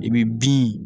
I bɛ bin